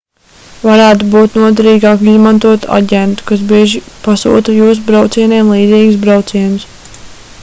varētu būt noderīgāk izmantot aģentu kas bieži pasūta jūsu braucienam līdzīgus braucienus